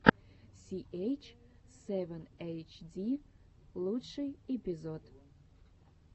си эйч севен эйч ди лучший эпизод